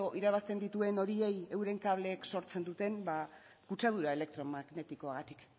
irabazten dituen horiei euren kable sortzen duten ba kutsadura elektromagnetikoak